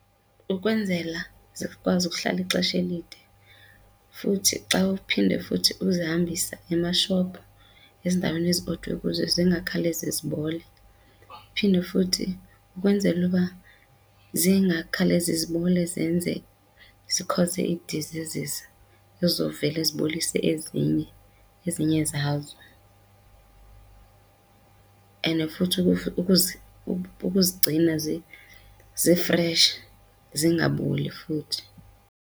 Ukwenzela zikwazi ukuhlala ixesha elide futhi xa uphinde futhi uzihambisa emashophu ezindaweni eziodwe kuzo zingakhawulezi zibole. Uphinde futhi ukwenzela uba zingakhawulezi zibole zenze, zikhoze ii-deseases ezizovele zibolise ezinye, ezinye zazo. And futhi ukuzigcina zii-fresh zingaboli futhi.